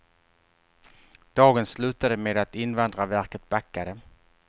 Dagen slutade med att invandrarverket backade.